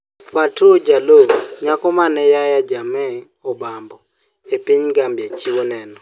Fatou Jallow: Nyako ma ne Yahya Jammeh obambo e piny Gambia chiwo neno